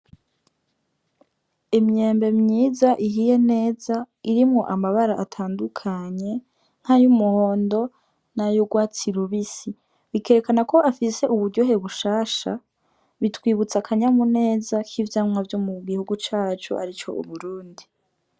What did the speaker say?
Imyembe myiza ihiye neza, irimwo amabara atandukanye nkay'umuhondo n'ayurwatsi rubisi. Bikerekana ko afise uburyohe bushasha, bitwibutsa akanyamuneza k'ivyamwa vyo mu gihugu cacu arico Uburundi.